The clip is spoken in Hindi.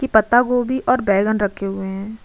की पत्ता गोभी और बैगन रखे हुये हैं।